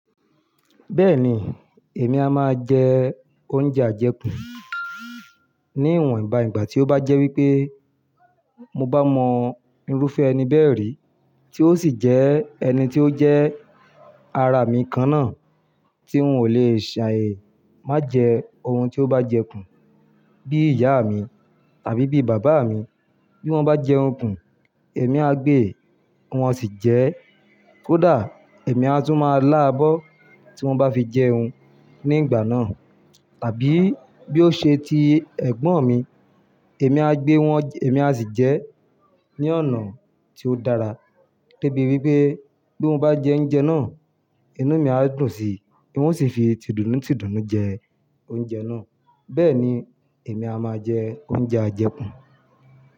Bẹ́ẹ̀ni, èmi a máa jẹ oúnjẹ ajẹkù. Ní ìwòn ìbà ìgbà tí ó bá jẹ́ wípé mo bá mọ irúfẹ́ ẹni bẹ́ẹ̀ rí tí ó sì jẹ́ ẹni tí ó jẹ́ ara mi kan náà tí ń ò lè ṣàì má jẹ ohun tí ó bá jẹ kùn bí ìyá mi tàbí bí bàbá mi. Bí wọ́n bá jẹun kùn, èmi á gbé wọn sì jẹ, kódà èmi á tún máa lá abọ́ tí wọ́n bá fi jẹun ní ìgbà náà. Tàbí bí ó ṣe ti ẹ̀gbọ́n mi, èmi á gbé wọn, èmi á sì jẹ ní ọ̀nà tí ó dára. Gẹ́gẹ́ bí wípé bí wọ́n bá jẹ oúnjẹ náà, inú mi á dùn sí i wọ́n sì fi tìdùnnu tìdùnnu jẹ oúnjẹ náà. Bẹ́ẹ̀ ni èmi a máa jẹ oúnjẹ ajẹku.